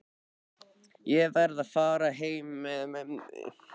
Ég verð að fara heim með mömmu.